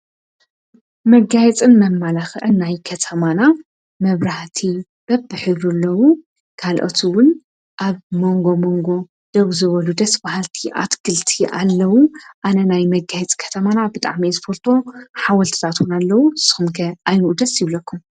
መጋይጽን መማላኽዕናይ ከተማና መብራህቲ በብሒሩ ኣለዉ ጋልኦቱውን ኣብ መንጎ መንጎ ደው ዘበሉ ደስ ባሃልቲ ኣትግልቲ ኣለዉ ኣነ ናይ መጋይጽ ከተማና ብጣዕመይ ዘፈልጦ ሓወልትዛትን ኣለዉ ሰምከ ኣይንኡደስ ይብለኩም።